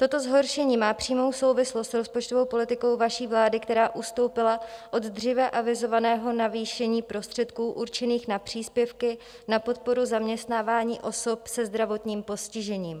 Toto zhoršení má přímou souvislost s rozpočtovou politikou vaší vlády, která ustoupila od dříve avizovaného navýšení prostředků určených na příspěvky na podporu zaměstnávání osob se zdravotním postižením.